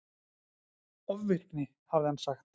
Ofvirkni, hafði hann sagt.